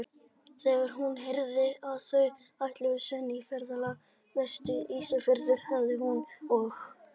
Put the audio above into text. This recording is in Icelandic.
Þegar hún heyrði, að þau ætluðu senn í ferðalag vestur á Ísafjörð, hafi hún og